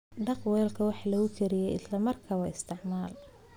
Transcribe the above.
Dhaq weelka wax lagu kariyo isla markaaba isticmaal.